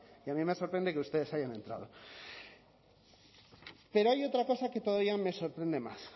y a mí me sorprende que ustedes hayan entrado pero hay otra cosa que todavía no me sorprende más